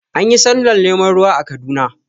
Anyi sallar neman ruwa a Kaduna